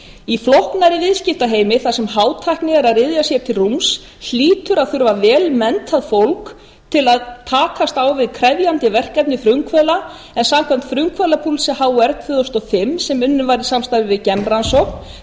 í flóknari viðskiptaheimi þar sem hátækni er að ryðja sér til rúms hlýtur að þurfa að þurfa vel menntað fólk til að takast á við krefjandi verkefni frumkvöðla en samkvæmt frumkvöðlapúlsi hr tvö þúsund og fimm sem unnið var í samstarfi við genrannsókn